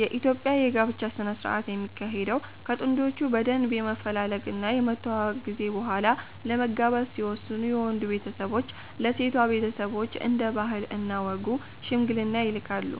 የኢትዮጵያ የ ጋብቻ ስነ ስረአት የሚካሄደው ከ ጥንዶቹ በደንብ የመፈላለግ እና የመተዋወቅ ጊዜ በሆላ ለመጋባት ሲወስኑ የ ወንዱ ቤተሰቦች ለ ሴቷ ቤተሰቦች እንደ ባህል እና ወጉ ሽምግልና ይልካሉ